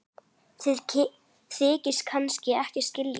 Þið þykist kannski ekkert skilja?